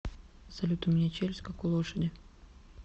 салют у меня челюсть как у лошади